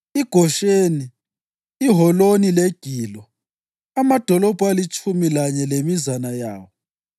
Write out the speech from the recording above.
iGosheni, iHoloni leGilo, amadolobho alitshumi lanye lemizana yawo.